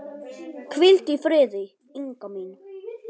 Hvíldu í friði, Inga mín.